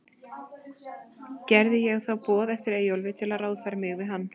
Gerði ég þá boð eftir Eyjólfi, til að ráðfæra mig við hann.